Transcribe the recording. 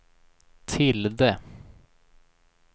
tilde